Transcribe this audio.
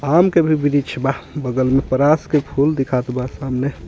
आम के भी वृक्ष बा बगल में परास के फूल दिखात बा सामने--